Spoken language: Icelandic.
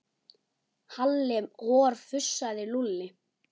Halli hor fussaði Lúlli.